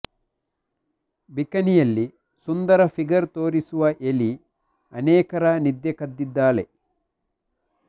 ಬಿಕನಿಯಲ್ಲಿ ಸುಂದರ ಫಿಗರ್ ತೋರಿಸಿರುವ ಎಲಿ ಅನೇಕರ ನಿದ್ರೆ ಕದ್ದಿದ್ದಾಳೆ